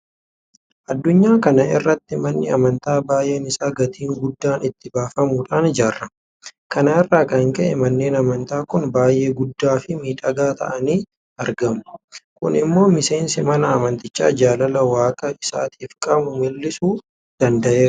Addunyaa kana irratti manni amantaa baay'een isaa gatiin guddaan itti baafamuudhaan ijaarama. Kana irraa kan ka'e manneen amantaa kun baay'ee guddaafi miidhagaa ta'anii argamu. Kun immoo miseensi mana amantichaa jaalala waaqa isaatiif qabu mul'isuu danda'eera.